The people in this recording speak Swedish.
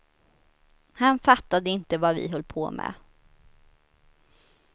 Han fattade inte vad vi höll på med.